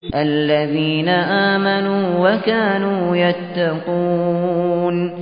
الَّذِينَ آمَنُوا وَكَانُوا يَتَّقُونَ